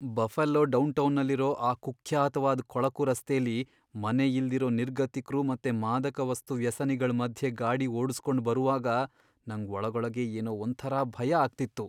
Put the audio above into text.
Buffalo ಡೌನ್ಟೌನಲ್ಲಿರೋ ಆ ಕುಖ್ಯಾತ್ವಾದ್ ಕೊಳಕು ರಸ್ತೆಲಿ ಮನೆ ಇಲ್ದಿರೋ ನಿರ್ಗತಿಕ್ರು ಮತ್ತೆ ಮಾದಕವಸ್ತು ವ್ಯಸನಿಗಳ್ ಮಧ್ಯೆ ಗಾಡಿ ಓಡುಸ್ಕೊಂಡ್ ಬರುವಾಗ ನಂಗ್ ಒಳಗೊಳಗೇ ಏನೋ ಒಂಥರ ಭಯ ಆಗ್ತಿತ್ತು.